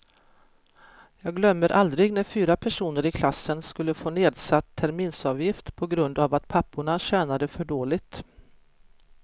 Jag glömmer aldrig när fyra personer i klassen skulle få nedsatt terminsavgift på grund av att papporna tjänade för dåligt.